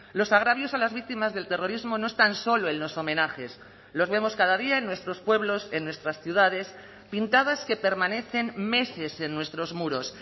los agravios a las víctimas del terrorismo no están solo en los homenajes los vemos cada día en nuestros pueblos en nuestras ciudades pintadas que permanecen meses en nuestros muros